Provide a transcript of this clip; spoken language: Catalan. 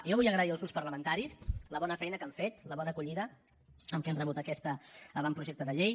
jo vull agrair als grups parlamentaris la bona feina que han fet la bona acollida amb què han rebut aquest avantprojecte de llei